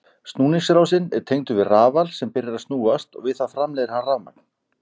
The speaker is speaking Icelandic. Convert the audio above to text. Snúningsásinn er tengdur við rafal sem byrjar að snúast og við það framleiðir hann rafmagn.